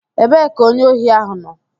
Ebee ka onye ohi ahụ nọ?